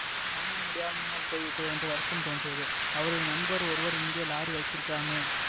காணமுடியாமல் போய்விட்டதே என்று வருத்தம் தோன்றியது அவருடைய நண்பர் ஒருவர் இங்கே லாரி வைத்திருக்காமே